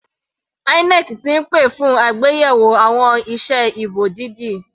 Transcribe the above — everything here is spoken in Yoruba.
INEC ti pè fún àgbéyẹ̀wò àwọn ìse ìbò dídì.